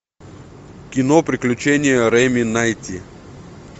кино приключения реми найти